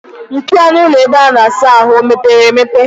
Mpio ọnụ ụlọ ebe a na-asa ahụ o meepere emepe?